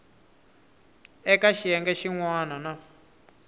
eka xiyenge xin wana na